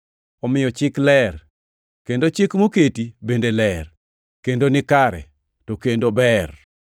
Omiyo Chik ler, kendo chike moketi bende ler, kendo nikare, to kendo ber.